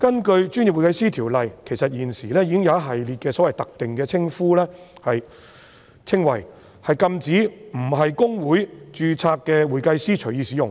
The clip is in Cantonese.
其實，《條例》已訂明一系列特定的稱謂，禁止非公會註冊的會計師隨意使用。